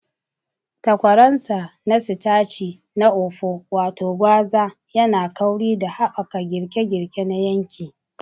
Takwaransa na sitaci na okpo, wato gwaza, yana kauri da haɓaka girke-girke na yanki.